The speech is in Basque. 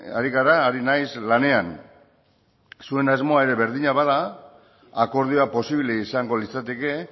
ari gara ari naiz lanean zuen asmoa ere berdina bada akordioa posible izango litzateke